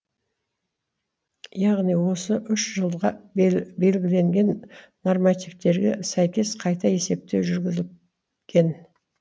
яғни осы үш жылға белгіленген нормативтерге сәйкес қайта есептеу жүргізілген